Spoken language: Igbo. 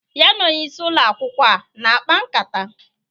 Ya na onyeisi Ụlọ akwụkwọ a na-akpa nkata?